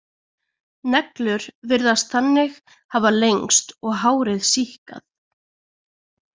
Neglur virðast þannig hafa lengst og hárið síkkað.